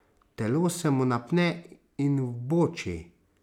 Telo se mu napne in vboči.